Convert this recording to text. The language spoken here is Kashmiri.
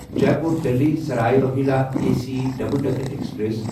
Jaipur Delhi Sarai Rohilla A C double decker express